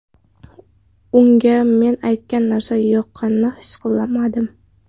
Unga men aytgan narsa yoqqanini his qilmadim.